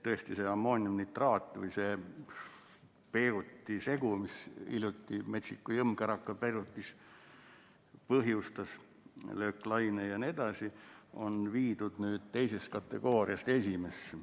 Tõesti, see ammooniumnitraat või see Beiruti segu, mis hiljuti Beirutis metsiku jõmmkäraka põhjustas, lööklaine jne, on viidud nüüd teisest kategooriast esimesse.